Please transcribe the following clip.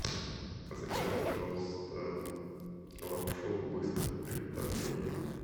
закажи пожалуйста лапшу быстрого приготовления